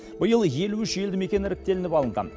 биыл елу үш елді мекен іріктелініп алынған